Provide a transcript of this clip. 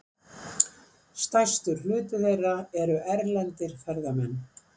Stærstur hluti þeirra eru erlendir ferðamenn.